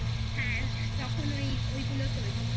হ্যাঁ তখন ওই ওই গুলো তৈরী হতো